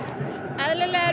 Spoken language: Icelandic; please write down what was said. eðlilega er